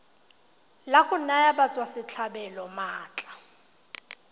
la go naya batswasetlhabelo maatla